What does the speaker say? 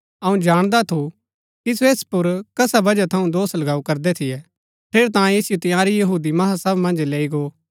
अऊँ जाणदा थु कि सो ऐस पुर कसा वजह थऊँ दोष लगाऊ करदै थियै ठेरैतांये ऐसिओ तंयारी महासभा मन्ज लैई गो